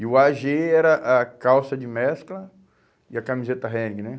E o á gê era a calça de mescla e a camiseta Henning, né?